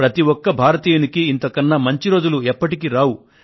ప్రతి ఒక్క భారతీయుడికి ఇంత కన్నా మంచి రోజులు ఎప్పటికి రావు